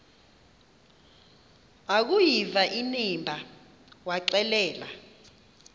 akuyiva inimba waxelela